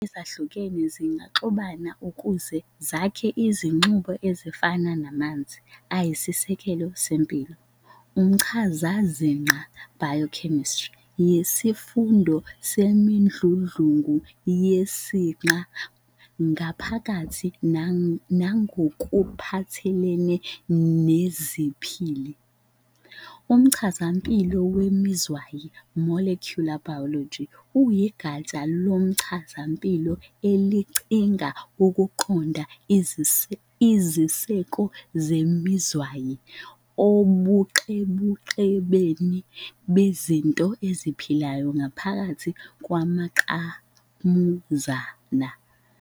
Izinhlwa ezihlukene zingaxubana ukuze zakhe imiXube efana namanzi, ayisisekelo sempilo. umchazaziqa "biochemistry" yisifundo semidludlungu yeziqa ngaphakathi nangokuphathelene neziphili. Umchazampilo wemizwayi "Molecular biology" uyigatsha lomchazampilo elicinga ukuqonda iziseko zemizwayi ubuqhebeqhebeni bezinto eziphilayo ngaphakathi kwamangqamuzana.